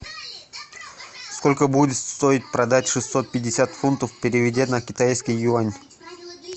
сколько будет стоить продать шестьсот пятьдесят фунтов переведя на китайский юань